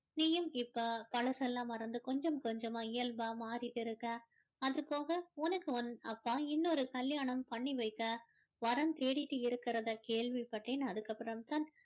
நீயும் இப்போ பழசெல்லாம் மறந்து கொஞ்சம் கொஞ்சமா இயல்பா மாறிட்டு இருக்க அதுபோக உனக்கு உன் அப்பா இன்னொரு கல்யாணம் பண்ணி வைக்க வரன் தேடிட்டு இருக்கிறத கேள்விப்பட்டேன் அதுக்கு அப்பறோம் தான்